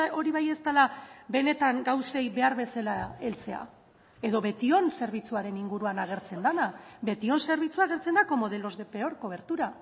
hori bai ez dela benetan gauzei behar bezala heltzea edo betion zerbitzuaren inguruan agertzen dena betion zerbitzua agertzen da como de los de peor cobertura